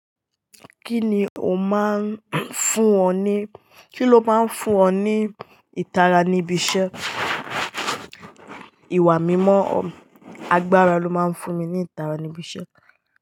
Kí ni o máa ń fún ọ ní, kí ló máa ń fún ọ ní ìtara níbi iṣẹ́? Iwà mímọ̀ agbára ló máa ń fún mi ní ìtara níbi iṣẹ́.